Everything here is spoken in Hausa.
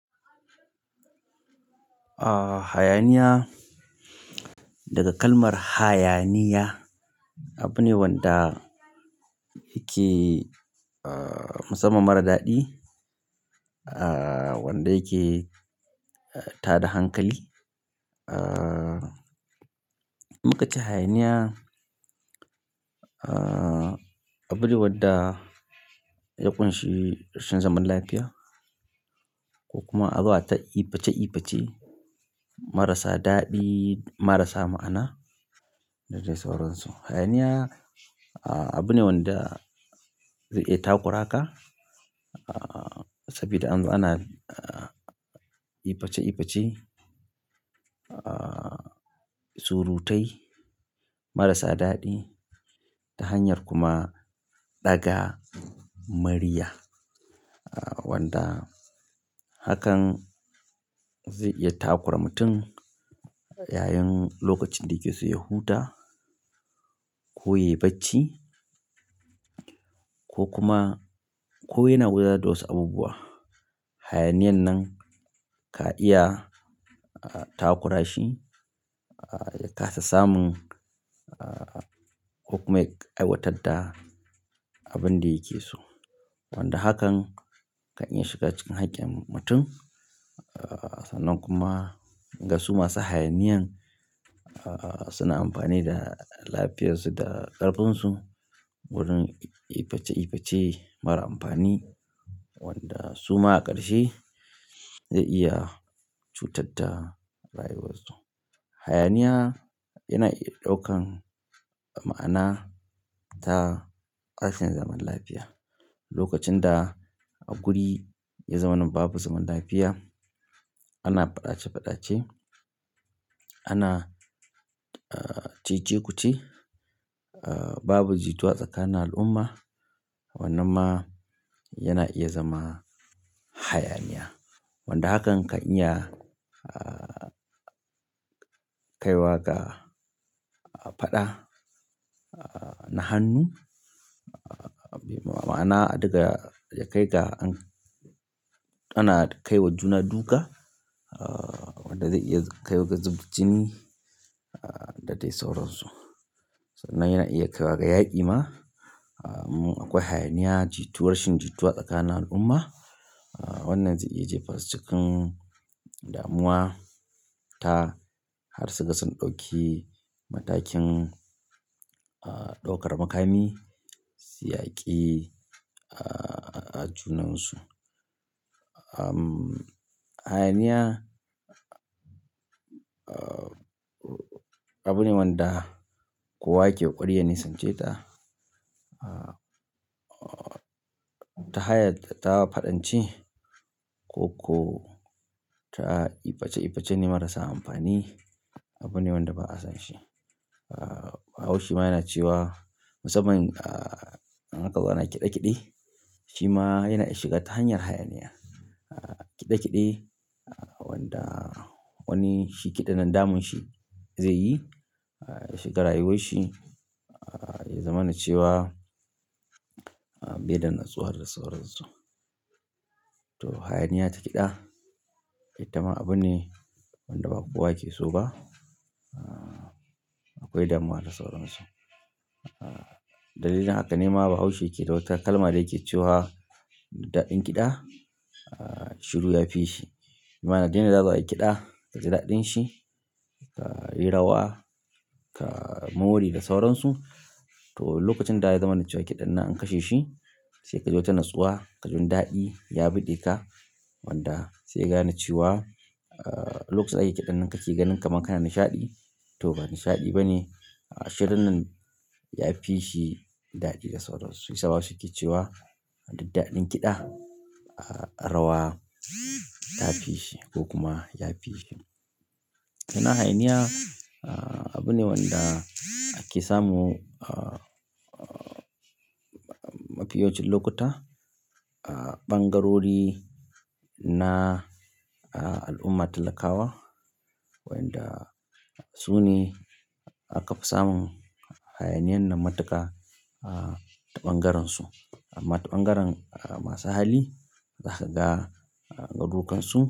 A hayaniya daga kalmar hayaniya abune wanda yake, ah, musamman mara daɗi. Ah, wanda yake tada hankali. Ah, muka cenhayaniya, ah, abune wadda ya ƙunshi rashin zaman lafiya ko kuma azo a ta iface iface marasa daɗi marasa ma'ana da dai sauransu. Hayaniya, ah, abune wanda zai iya takura ka, ah, saboda an zo ana iface iface, ah, surutai marasa daɗi ta hanyar kuma ɗaga murya. Wanda hakan zai iya takura mutum yayin lokacin da yake so ya huta ko yayi bacci ko kuma ko yana da wasu abubuwa. Hayaniyan nan ka iya takura shi ya kasa samun ko kuma ya aiwatar da abun da yake so wanda hakan kan iya shiga cikin haƙƙin mutum. Ah, sannan kuma ga su masu hayaniyan, ah, suna amfani da lafiyarsu da ƙarfinsu wurin iface iface mara amfani wanda suma a ƙarshe zai iya cutar da rayuwarsu. Hayaniya yana iya ɗaukan ma'ana ta tashin zaman lafiya. Lokacin da a guri ya zamana babu zaman lafiya, ana faɗace faɗace, ana, ah, cece-kuce, ah, babu jituwa tsakanin al'umma. Wannan ma yana iya zama hayaniya. Wanda hakan kan iya, ah, kaiwa ga faɗa, ah, na hannu. Ah, me ma'ana daga yakai ga an-- ana kai wa juna duka. Ah, wanda zai iya kaiwa ga zubda jini da dai sauransu. Sannan yana iya kaiwa ga yaƙi ma. Ah, mun akwai hayaniya, jituwa rashin jituwa tsakanin al'umma. Ah, wannan zai iya jefa su cikin damuwa ta har su ga sun ɗauki matakin ah ɗaukar makami su yaki ah junan su ahm, hayaniya, ah, abune wanda kowa yake ƙwarya nisance ta. Ah, ta hayar da ta faɗanci koko ta iface iface ne marasa amfani. Abune wanda ba a son shi ah bahaushe ma yana cewa musamman ah in a ka zo ana kide kide. Shi ma yana iya shiga ta hanyar hayaniya. Ah, kiɗe kiɗe, ah, wanda wani shi kiɗan na damun shi zai yi, ah, ya shiga rayuwar shi, ah, ya zamana cewa bai da natsuwar da sauransu. To hayaniya ta kiɗa ita ma abune wanda ba kowa yake so ba ah, akwai damuwa da sauransu. Ah, dalilin haka ne ma bahaushe yake da wata kalma da yake cewa daɗin kiɗa, ah, shiru ya fi shi. Ma'ana dai na za zo ayi kiɗa, ka ji daɗin shi, ka yi rawa, ka more da sauransu. To lokacin da ya zamana cewa kiɗan nan an kashe shi, sai ka ji wata natsuwa, ka ji wani daɗi ya buge ka. Wanda sai gane cewa, ah, lokacin da ake kiɗan nan kake ganin kaman kana nishaɗi. To ba nishaɗi ba ne. Ashe dan nan yafi shi daɗi da sauransu shi ya sa bahaushe yana cewa duk daɗin kiɗa ah rawa ta fi shi ko kuma ya fi shi. Sannan hayaniya, ah, abune wanda ake samu, ah, mafi yawancin lokuta a ɓangarori na al'umma talakawa. Wanda su ne aka fi samun hayaniyan nan matuƙa a ta ɓangaren su. Amma ta ɓangaren masu hali za ka ga garuƙansu.